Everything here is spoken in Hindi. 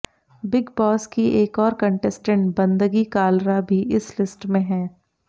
बिग बॉस की एक और कंटेस्टेंट बंदगी कालरा भी इस लिस्ट में हैं